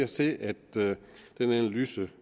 til at den analyse